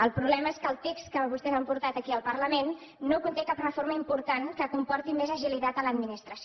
el problema és que el text que vostès han portat aquí al parlament no conté cap reforma important que comporti més agilitat a l’administració